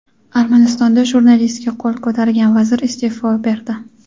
Armanistonda jurnalistga qo‘l ko‘targan vazir isteʼfo berdi.